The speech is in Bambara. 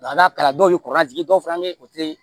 n'a taara dɔw ye kɔrɔlajigin dɔw fana bɛ yen o tɛ